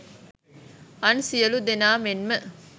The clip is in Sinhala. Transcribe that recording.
අන් සියලූ දෙනා මෙන්ම